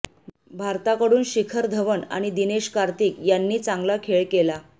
भारताकडून शिखर धवन आणि दिनेश कार्तिक यांनी चांगला खेळ केला